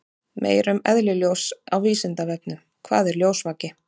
Meira um eðli ljóss á Vísindavefnum: Hvað er ljósvaki?